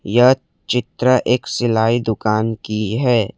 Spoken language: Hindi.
यह चित्र एक सिलाई दुकान की है।